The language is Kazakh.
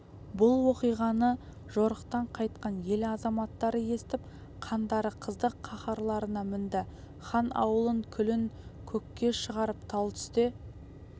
бұл оқиғаны жорықтан қайтқан ел азаматтары естіп қандары қызды қаһарларына мінді хан аулын күлін көкке шығарып тал түсте